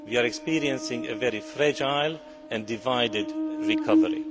We are experiencing a very fragile and divided recovery.